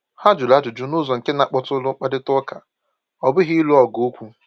Ha jụrụ ajụjụ n’ụzọ nke na-akpọtụrụ mkparịta ụka, ọ bụghị ịlụ ọgụ okwu.